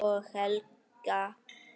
Og Helga!